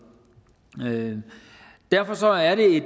derfor er